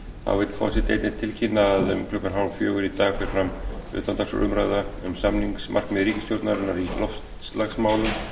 þá vill forseti einnig tilkynna að klukkan fimmtán þrjátíu í dag fer fram utandagskrárumræða um samningsmarkmið ríkisstjórnarinnar í loftslagsmálum